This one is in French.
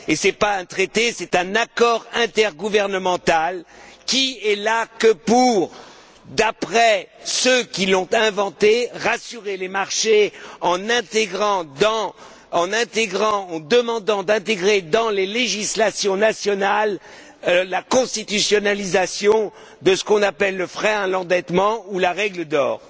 Ce n'est pas un traité, c'est un accord intergouvernemental qui n'est là que pour, d'après ceux qui l'ont inventé, rassurer les marchés en demandant d'intégrer dans les législations nationales la constitutionnalisation de ce qu'on appelle le frein à l'endettement ou la règle d'or.